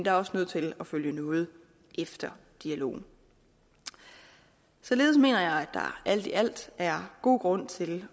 er også nødt til at følge noget efter dialogen således mener jeg at der alt i alt er god grund til